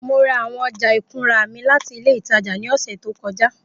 Mo ra awọn ọja ikunra mi lati ile itaja ni ọsẹ to kọja